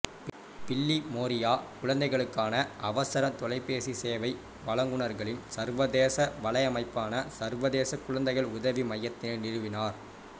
பில்லிமோரியா குழந்தைகளுக்கான அவசர தொலைபேசி சேவை வழங்குநர்களின் சர்வதேச வலையமைப்பான சர்வதேச குழந்தைகள் உதவி மையத்தினை நிறுவினார்